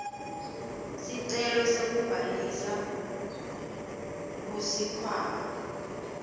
sicelo sekubhalisa kusikhwama